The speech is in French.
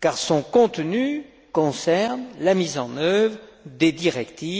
car son contenu concerne la mise en œuvre des directives